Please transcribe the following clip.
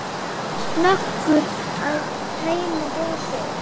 Snöggur að tæma glasið.